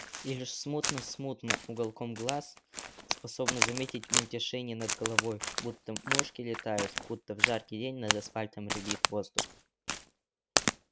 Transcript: и лишь смутно-смутно уголком глаз способна заметить мельтешение над головой будто мушки летают будто в жаркий день над асфальтом рябит воздух